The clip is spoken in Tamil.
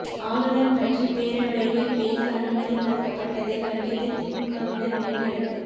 ஆளுநர் பற்றி பேரவையில் பேச அனுமதி மறுக்கப்பட்டதை கண்டித்து திமுகவினர் வெளிநடப்பு